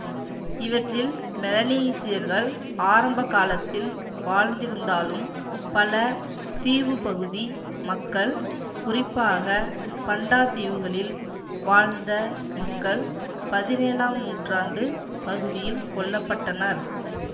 இவற்றில் மெலனீசியர்கள் ஆரம்ப காலத்தில் வாழ்ந்திருந்தாலும் பல தீவுப்பகுதி மக்கள் குறிப்பாக பண்டா தீவுகளில் வாழ்ந்த மக்கள் பதினேழாம் நூற்றாண்டுப் பகுதியில் கொல்ல பட்டனர்